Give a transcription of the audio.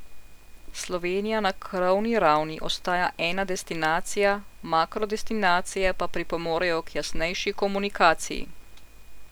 Slovenija na krovni ravni ostaja ena destinacija, makro destinacije pa pripomorejo k jasnejši komunikaciji.